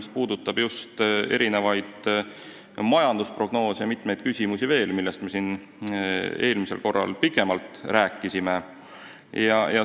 See puudutab just erinevaid majandusprognoose ja veel mitmeid küsimusi, millest me siin eelmisel korral pikemalt rääkisime.